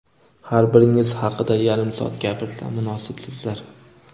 har biringiz haqida yarim soat gapirsam, munosibsizlar.